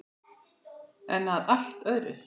En að allt öðru!